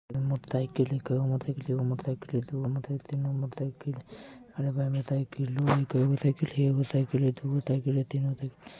मोटेरकीकले मोटेरसाइकिल ही है एगो साइकिल दुगो साइकिल हई तीन गो साइकिल हई |